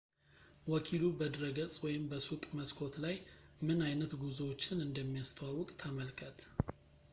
ወኪሉ ፣ በድረገፅ ወይም በሱቅ መስኮት ላይ፣ ምን አይነት ጉዞዎችን እንደሚያስተዋውቅ ተመልከት